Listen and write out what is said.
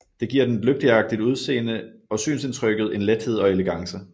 Det giver den et lygteagtigt udseende og synsindtrykket en lethed og elegance